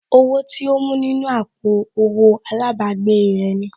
Owó tí ó mú nínú àpò owó àlábàgbèè rẹ̀ ni